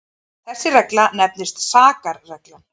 þessi regla nefnist sakarreglan